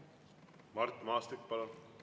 Mart Maastik, palun!